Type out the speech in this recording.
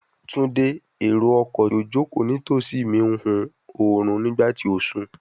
Tunde, ero-ọkọ ti o joko nitosi mi n hun orun nigba ti o sùn